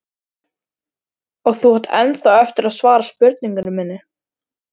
Og þú átt ennþá eftir að svara spurningu minni.